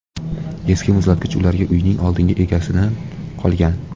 Eski muzlatkich ularga uyning oldingi egasidan qolgan.